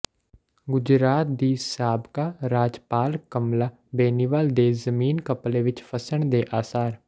ਗੁਜਰਾਤ ਦੀ ਸਾਬਕਾ ਰਾਜਪਾਲ ਕਮਲਾ ਬੇਨੀਵਾਲ ਦੇ ਜ਼ਮੀਨ ਘਪਲੇ ਵਿੱਚ ਫਸਣ ਦੇ ਆਸਾਰ